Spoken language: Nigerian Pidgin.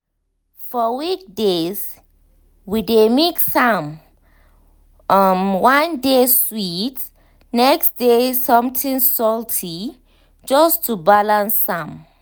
for weekdays we dey mix am um one day sweet um next day something salty just to balance um am.